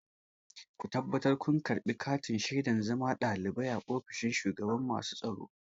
Ku tabbatar kun karɓi katin shaidar zama ɗalibi a ofishin shugaban masu tsaro!